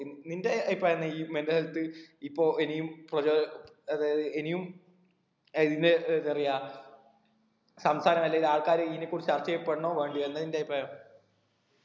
in നിന്റെ ഈ പറയുന്ന ഈ mental health ഇപ്പൊ ഇനിയും പ്രചോ അതായത് ഇനിയും ഇതിന്റെ എന്തറയാ സംസാരം അല്ലെങ്കിൽ ആൾക്കാര് ഇതിനെ കുറിച്ച് ചർച്ച ചെയ്യപ്പെടണോ വേണ്ടയോ എന്താ നിന്റെ അഭിപ്രായം